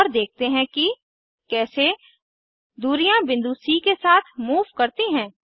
और देखते हैं कि कैसे दूरियां बिंदु सी के साथ मूव करती हैं